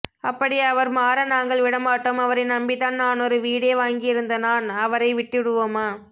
அப்படி அவ்ர் மாற நாங்கள் விட மாட்டோம் அவரை நம்பி தான் நானொரு வீடே வாங்கயிருந்தனான் அவரை விட்டுவிடுவோமா